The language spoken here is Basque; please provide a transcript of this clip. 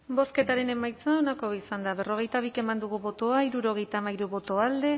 bozketaren emaitza onako izan da berrogeita bi eman dugu bozka hirurogeita hamairu boto alde